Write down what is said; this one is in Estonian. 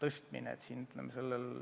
tõstmine.